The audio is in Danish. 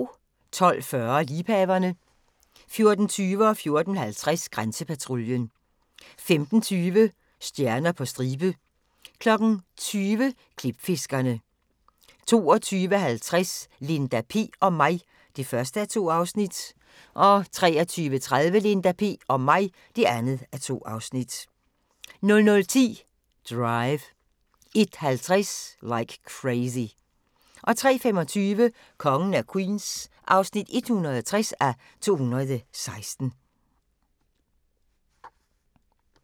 12:40: Liebhaverne 14:20: Grænsepatruljen 14:50: Grænsepatruljen 15:20: Stjerner på stribe 20:00: Klipfiskerne 22:50: Linda P... og mig (1:2) 23:30: Linda P... og mig (2:2) 00:10: Drive 01:50: Like Crazy 03:25: Kongen af Queens (160:216)